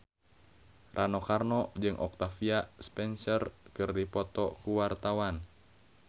Rano Karno jeung Octavia Spencer keur dipoto ku wartawan